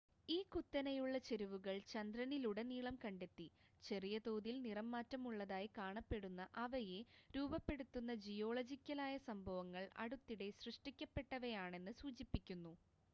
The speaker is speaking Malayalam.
ഈ കുത്തനെയുള്ള ചെരിവുകൾ ചന്ദ്രനിലുടനീളം കണ്ടെത്തി ചെറിയ തോതിൽ നിറംമാറ്റമുള്ളതായി കാണപ്പെടുന്ന അവയെ രൂപപ്പെടുത്തിയ ജിയോളജിക്കലായ സംഭവങ്ങൾ അടുത്തിടെ സൃഷ്ടിക്കപ്പെട്ടവയാണെന്ന് സൂചിപ്പിക്കുന്നു